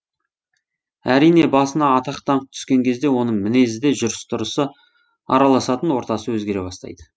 әрине басына атақ даңқ түскен кезде оның мінезі де жүріс тұрысы араласатын ортасы өзгере бастайды